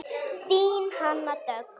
Þín Hanna Dögg.